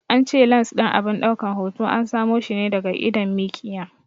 An ce lans ɗin abin daukan hoto an samo shi ne daga idon mikiya.